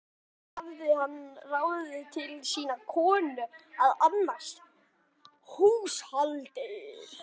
Áður hafði hann ráðið til sín konu að annast húshaldið.